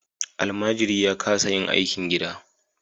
Almajiri ya kasa yin aikin gida.